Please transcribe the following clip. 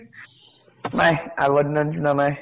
নাই। আগৰ দিনৰ নিছিনা নাই।